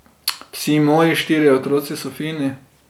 Vsi moji štirje otroci so fini.